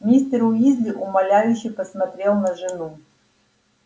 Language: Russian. мистер уизли умоляюще посмотрел на жену